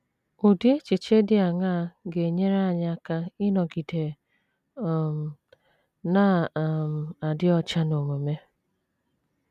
Ụdị echiche dị aṅaa ga - enyere anyị aka ịnọgide um na - um adị ọcha n’omume?